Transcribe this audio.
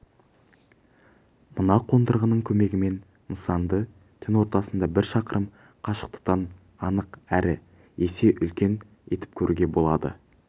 мына қондырғының көмегімен нысанды түн ортасында бір шақырым қашықтықтан анық әрі есе үлкен етіп көруге болады